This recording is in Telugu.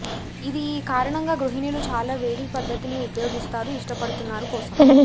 ఇది ఈ కారణంగా గృహిణులు చాలా వేడి పద్ధతిని ఉపయోగిస్తారు ఇష్టపడుతున్నారు కోసం